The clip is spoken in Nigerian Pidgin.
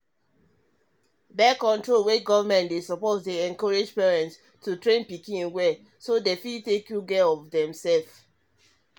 um birth-control wey government dey support dey encourage parents to um train pikin well so them fit take good care of um demself